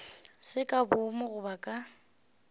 se ka boomo goba ka